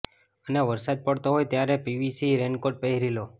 અને વરસાદ પડતો હોય ત્યારે પીવીસી રેનકોટ પહેરી લો